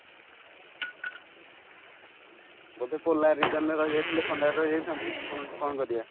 ବୋଧେ polar reason ରେ ରହି ଯାଇଥିଲେ ଥଣ୍ଡାରେ ରହିଯାଇଥାନ୍ତୁ କଣ କରିବା